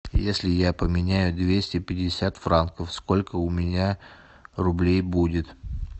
если я поменяю двести пятьдесят франков сколько у меня рублей будет